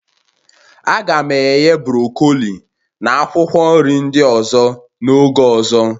A ga m eghe brọkoli na akwụkwọ nri ndị ọzọ n'oge ọzọ